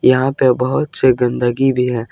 यहां पे बहुत से गंदगी भी है।